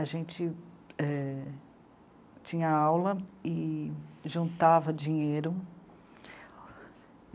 A gente é... tinha aula e juntava dinheiro.